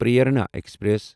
Prerana express